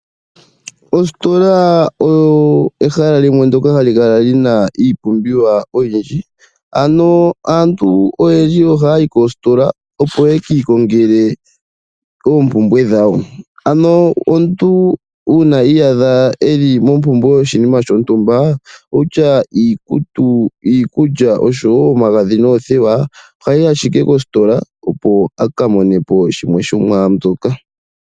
Ostola oyo ehala limwe ndjoka ha li kala li na iipumbiwa oyindji. Ano aantu oyendji ohaya yi koostola opo ye ki ikongele oompumbwe dhawo. Ano omuntu uuna iyaadha e li mompumbwe yoshinima shontumba wutya iikutu, iikulya oshowo omagadhi noothewa ohayi ashike koostola opo a ka mone po shimwe shomwaambyoka.